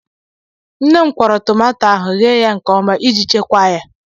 Nne m kwụọrọ tomato ahụ, ghee ya nkeọma iji chekwaa ya.